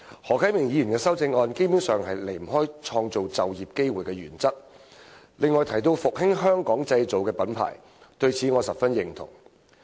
何啟明議員的修正案基本上不離"創造就業機會"的原則，而他亦提到復興"香港製造"這品牌，我對此十分認同。